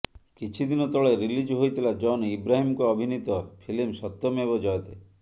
କିଛି ଦିନ ତଳେ ରିଲିଜ୍ ହୋଇଥିଲା ଜନ୍ ଆବ୍ରାହିମ୍ଙ୍କ ଅଭିନୀତ ଫିଲ୍ମ ସତ୍ୟମେବ ଜୟତେ